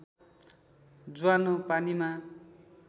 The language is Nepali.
ज्वानो पानीमा